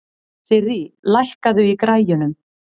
Sirrí, lækkaðu í græjunum.